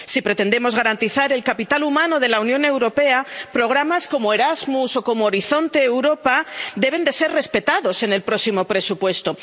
Si pretendemos garantizar el capital humano de la Unión Europea, programas como Erasmus o como Horizonte Europa deben ser respetados en el próximo presupuesto.